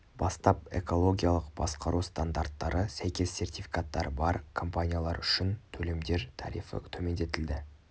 бастап экологиялық басқару стандарттары сәйкес сертификаттары бар компаниялар үшін төлемдер тарифі төмендетілді